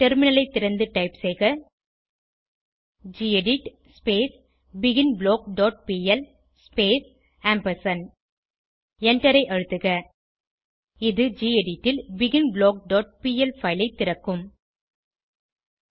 டெர்மினலைத் திறந்து டைப் செய்க gedit begin block dot P L space ampersand எண்டரை அழுத்துக இது கெடிட் ல் பிகின்பிளாக் டாட் பிஎல் பைல் ஐ திறக்கும்